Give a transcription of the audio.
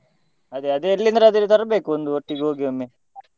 ಅದೇ ಅದ್ ಎಲ್ಲಿಂದದ್ರು ತರ್ಬೇಕು ಒಂದು ಎಲ್ಲ ಒಟ್ಟಿಗೆ ಹೋಗಿ ಒಮ್ಮೆ.